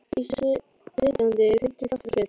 Íslenski flytjandinn er fimmti kraftur á svið.